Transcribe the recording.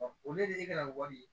olu de ye e kɛra wari ye